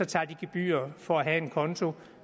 tager gebyrer for at have en konto